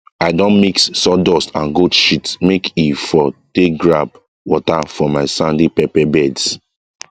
i don mix sawdust and goat shit make e for take grab water for my sandy pepper beds